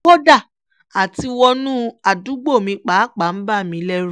kódà àtiwọnú àdúgbò mi pàápàá ń bà mí lẹ́rù